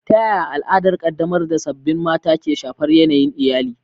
Ta yaya al'adar ƙaddamar da sababbin mata ke shafar yanayin iyali?